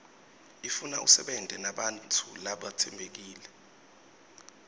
ifuna usebente nebantfu labatsembekile